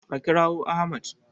A kirawo Ahmad!